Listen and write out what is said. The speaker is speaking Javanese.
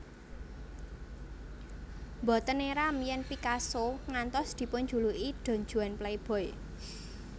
Mboten éram yèn Picasso ngantos dipunjuluki Don Juan playboy